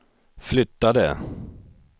flyttade